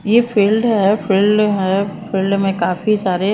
ये फील्ड है फील्ड है फील्ड में काफी सारे--